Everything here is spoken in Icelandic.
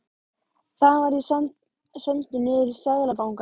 Þaðan var ég sendur niður í Seðlabanka.